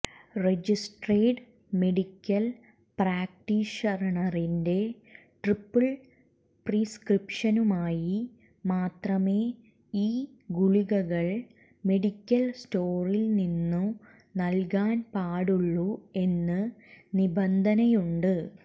registered medical പ്രാക്ടീഷണറിന്റെ triple പ്രിസ്ക്രിപ്ക്ഷനുമായി മാത്രമേ ഈ ഗുളികകൾ മെഡിക്കൽ സ്റ്റോറിൽ നിന്നു നൽകാൻ പാടുള്ളൂ എന്ന് നിബന്ധനയുണ്ട്